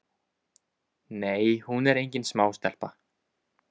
Nei hún er engin smástelpa.